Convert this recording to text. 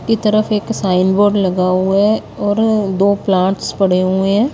कि तरफ एक साइन बोर्ड लगा हुआ है और दो प्लांटस पड़े हुए हैं।